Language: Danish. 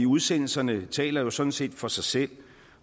udsendelserne taler jo sådan set for sig selv